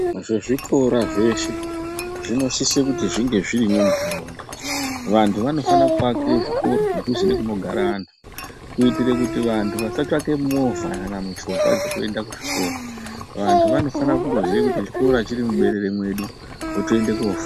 Ngezvikora zveshe zvinosisa kunge zvirimo mundaraunda vantu vanofana kuvakira zvikora zveshe zvinogara antu kuitira kuti antu asatsvaka movha kana mishonga dzekuenda kuzvikora vantu vanofana kungoziya kuti zvikora chiri muberere medu wotoenda kofa.